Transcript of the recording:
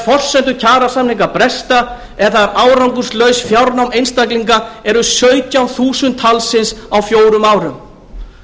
forsendur kjarasamninga bresta eða þegar árangurslaus fjárnám einstaklinga eru sautján þúsund talsins á fjórum árum